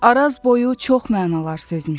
Araz boyu çox mənalar sözmüşəm.